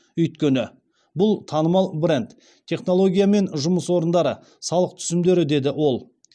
өйткені бұл танымал бренд технология мен жұмыс орындары салық түсімдері деді ол